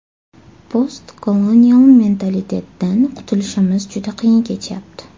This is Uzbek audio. Post-kolonial mentalitetdan qutilishimiz juda qiyin kechyapti.